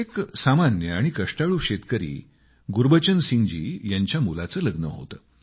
एक सामान्य आणि कष्टाळू शेतकरी गुरबचन सिंगजी यांच्या मुलाचे लग्न होते